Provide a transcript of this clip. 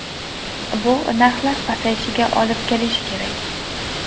Bu narxlar pasayishiga olib kelishi kerak.